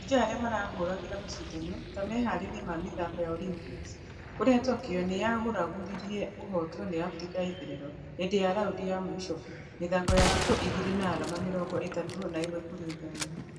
Shujaa arĩa marahũthĩraga mashidano ta meharĩria ma mĩthako ya olympics kũrĩa tokyo nĩyaguragurarire kũhotwo nĩ africa ya itherero hĩndĩ ya raundi ya mũisho mĩthako ya thikũ igĩrĩ na arama mĩrongo ĩtatũ na ĩmwe kũrĩ ithano .